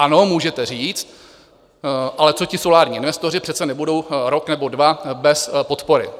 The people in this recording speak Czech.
Ano, můžete říct: Ale co ti solární investoři, přece nebudou rok nebo dva bez podpory?